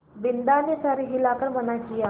बिन्दा ने सर हिला कर मना किया